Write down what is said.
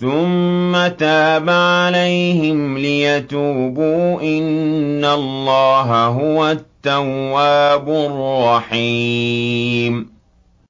ثُمَّ تَابَ عَلَيْهِمْ لِيَتُوبُوا ۚ إِنَّ اللَّهَ هُوَ التَّوَّابُ الرَّحِيمُ